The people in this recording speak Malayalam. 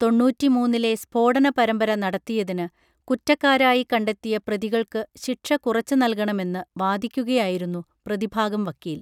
തൊണ്ണൂറ്റിമൂന്നിലെ സ്ഫോടന പരമ്പര നടത്തിയതിന് കുറ്റക്കാരായി കണ്ടെത്തിയ പ്രതികൾക്ക് ശിക്ഷ കുറച്ച് നൽകണമെന്നു വാദിക്കുകയായിരുന്നു പ്രതിഭാഗം വക്കീൽ